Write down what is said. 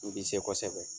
I bɛ se kosɛbɛ